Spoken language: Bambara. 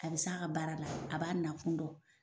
A bɛ se a ka baara la a b'a nakun dɔn.